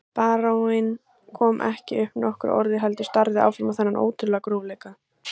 Baróninn kom ekki upp nokkru orði heldur starði áfram á þennan ótrúlega grófleika.